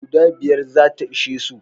Guda biyar za ta ishe su.